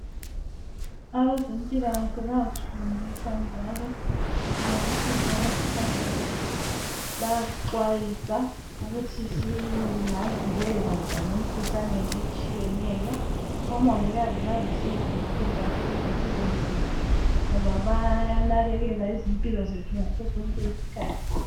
Abezempilakahle bayasifundisa njalo ngokuthi singaziphatha njani. Bayasixwayisa ukuthi singabikelela njani emikhuhlaneni etshiyeneyo. Omongikazi balusizo olukhulu kakhulu empilweni zethu ngoba bayanakekela impilo zethu ngasosonke isikhathi.